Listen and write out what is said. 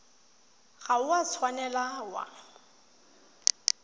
ga o a tshwanela wa